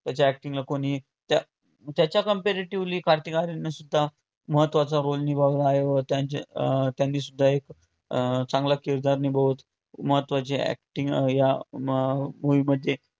त्याच्या acting ला कोणी त्या त्याच्या comparetively कार्तिक आर्यन सुद्धा महत्वाचं roll निभावला आहे व त्यांच~ त्यांनी सुद्धा अं एक चांगला किरदार निभावत महत्वाची acting अं या अं movie मध्ये